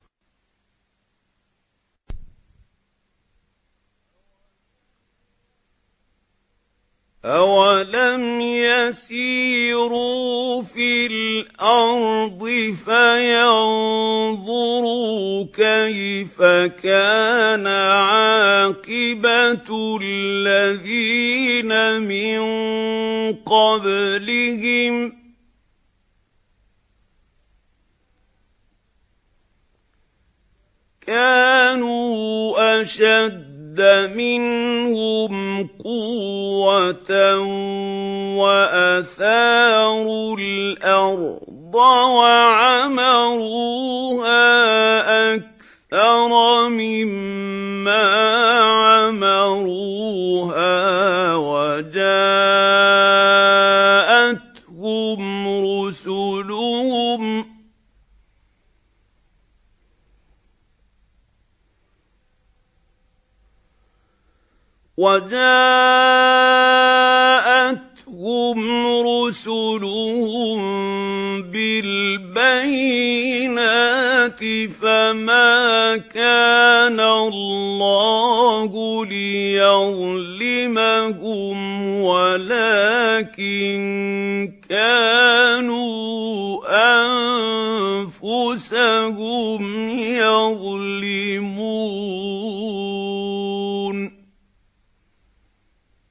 أَوَلَمْ يَسِيرُوا فِي الْأَرْضِ فَيَنظُرُوا كَيْفَ كَانَ عَاقِبَةُ الَّذِينَ مِن قَبْلِهِمْ ۚ كَانُوا أَشَدَّ مِنْهُمْ قُوَّةً وَأَثَارُوا الْأَرْضَ وَعَمَرُوهَا أَكْثَرَ مِمَّا عَمَرُوهَا وَجَاءَتْهُمْ رُسُلُهُم بِالْبَيِّنَاتِ ۖ فَمَا كَانَ اللَّهُ لِيَظْلِمَهُمْ وَلَٰكِن كَانُوا أَنفُسَهُمْ يَظْلِمُونَ